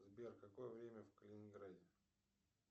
сбер какое время в калининграде